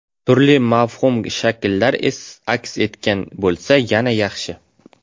Turli mavhum shakllar aks etgan bo‘lsa, yana yaxshi.